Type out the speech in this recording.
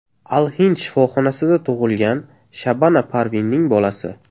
Al-Hind shifoxonasida tug‘ilgan Shabana Parvinning bolasi.